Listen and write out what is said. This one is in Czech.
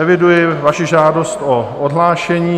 Eviduji vaši žádost o odhlášení.